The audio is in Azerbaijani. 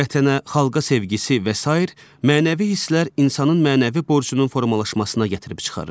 Vətənə, xalqa sevgisi və sair mənəvi hisslər insanın mənəvi borcunun formalaşmasına gətirib çıxarır.